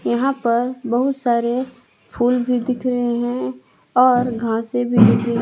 यहां पर बहुत सारे फूल भी दिख रहे हैं और घासें भी दिख रहे --